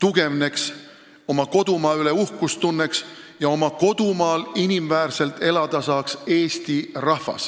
tugevneks eesti rahvas, kes tunneks uhkust oma kodumaa üle ja saaks inimväärselt oma kodumaal elada.